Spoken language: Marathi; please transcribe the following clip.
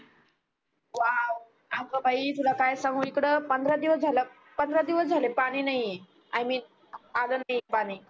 आग बी तुला काय सांगू इकड पंधरा दिवस झाल पंधरा दिवस झाल पानी नाही आहे मिन आलं नाही पानी